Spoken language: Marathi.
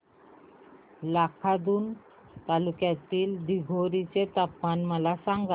लाखांदूर तालुक्यातील दिघोरी चे तापमान मला सांगा